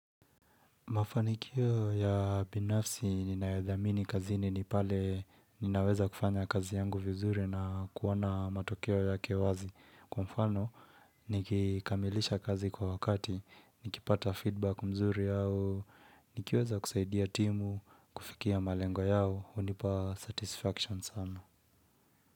Mafanikio ya binafsi ninayodhamini kazini ni pale ninaweza kufanya kazi yangu vizuri na kuona matokeo yake wazi. Kwa mfano nikikamilisha kazi kwa wakati, nikipata feedback mzuri au, nikiweza kusaidia timu, kufikia malengo yao, hunipa satisfaction sana.